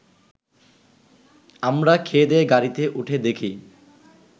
আমরা খেয়েদেয়ে গাড়িতে উঠে দেখি